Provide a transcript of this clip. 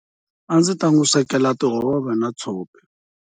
A ndzi ta n'wi swekela tihove na tshopi.